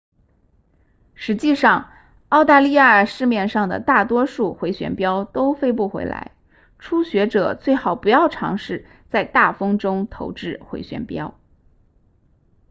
实际上澳大利亚市面上的大多数回旋镖都飞不回来初学者最好不要尝试在大风中投掷回旋镖